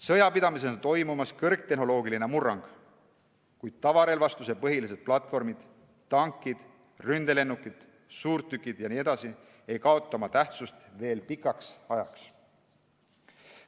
Sõjapidamises on toimumas kõrgtehnoloogiline murrang, kuid tavarelvastuse põhilised platvormid – tankid, ründelennukid, suurtükid jne – ei kaota oma tähtsust veel pikka aega.